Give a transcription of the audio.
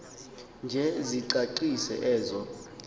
nje sicacise ezo